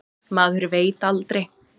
Maður veit aldrei.